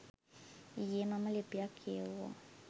ඊයේ මම ලිපියක් කියෙව්වා.